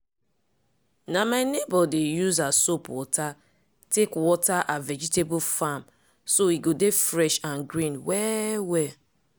na my neighbour dey use her soap water take water her vegetable farm so e go dey fresh and green well-well.